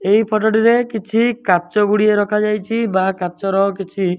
ଏଇ ଫଟ ଟିରେ କିଛି କାଚ ଗୁଡ଼ିଏ ରଖା ଯାଇଛି। ବା କାଚର କିଛି --